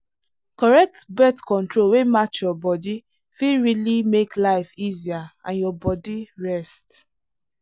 correct birth control wey match your body fit really make life easier and your body rest.